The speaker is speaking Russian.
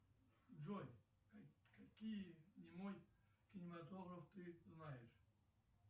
джой какие немой кинематограф ты знаешь